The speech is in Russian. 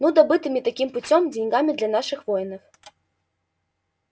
ну добытыми таким путём деньгами для наших воинов